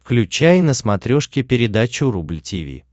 включай на смотрешке передачу рубль ти ви